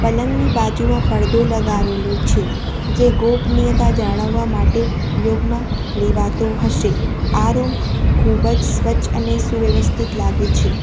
પલંગની બાજુમાં પડદો લગાવેલો છે જે ગોપનીયતા જાળવવા માટે ઉપયોગમાં લેવાતો હશે આ રૂમ ખૂબ જ સ્વચ્છ અને સુવ્યવસ્થિત લાગે છે.